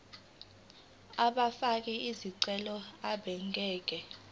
abafake izicelo abangeke